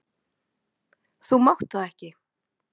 Þú mátt það ekki!